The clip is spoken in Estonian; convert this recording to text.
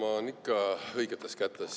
Isamaa on ikka õigetes kätes.